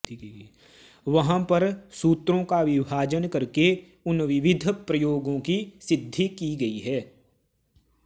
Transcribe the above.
वहाँ पर सूत्रों का विभाजन करके उन विविध प्रयोगों की सिद्धि की गई है